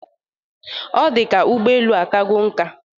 Ọ dị ka ụgbọelu a akago nka?